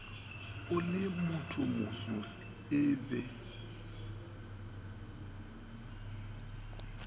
o le mothomoso e be